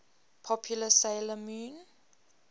popular 'sailor moon